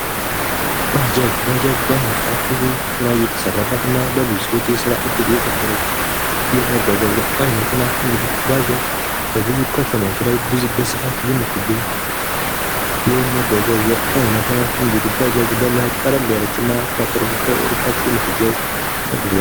ባጃጅ ባጃጅ በአሁኑ ሰዓት ብዙ ስራ እየተሰራበት እና ለብዙ ሰዎች የስራ እድል የፈጠረች የመጓጓዣ ዓይነት ናት:: እንግዲህ ባጃጅ በብዙ ከተማዎች ላይ በስፋት የምትገኝ የመጓጓዣ አይነት ናት ::እንግዲህ ባጃጅ ለመሄድ ቀለል ያለችና ከቅርብ ዕርቀት የምትጓዝ መጉአጉአዥ ::